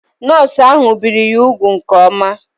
Nọọsụ ahụ biri ya úgwù nke oma